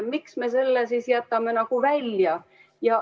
Miks me selle välja jätame?